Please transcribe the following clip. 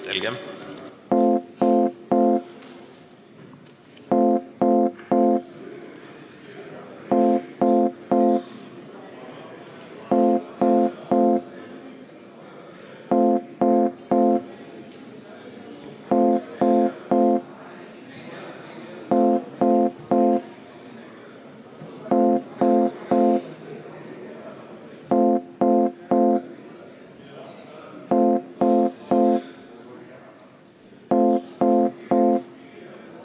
Selge.